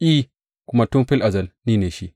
I, kuma tun fil azal ni ne shi.